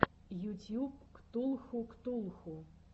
ютьюб ктулху ктулху